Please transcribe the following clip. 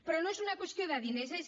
però no és una qüestió de diners és